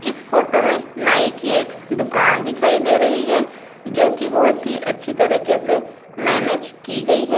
इस फोटो में नाई की एक दुकान दिखाई दे रही है जोकी बहोत ही अच्छी तरीके से मैनेज की गई है ।